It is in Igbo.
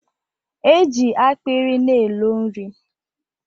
Eji akpịrị na elo nri.